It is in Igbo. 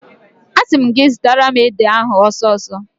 Asị m gị zụtara m ede ahụ ọsọ ọsọ!